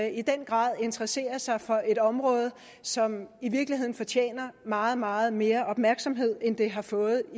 i den grad interesserer sig for et område som i virkeligheden fortjener meget meget mere opmærksomhed end det har fået